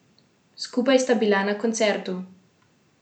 Skupaj sta bila na koncertu.